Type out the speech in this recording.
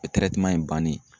in bannen